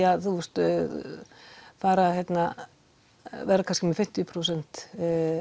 að fara vera kannski með fimmtíu prósent